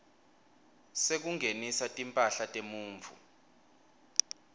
sekungenisa timphahla temuntfu